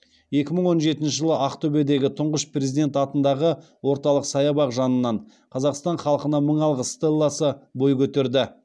екі мың он жетінші жылы ақтөбедегі тұңғыш президент атындағы орталық саябақ жанынан қазақстан халқына мың алғыс стелласы бой көтерді